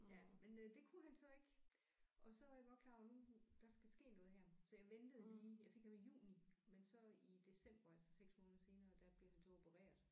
Ja men øh det kunne han så ikke og så er jeg godt klar over nu der skal ske noget her så jeg ventede lige jeg fik ham i juni men så i december altså 6 måneder senere der blev han så opereret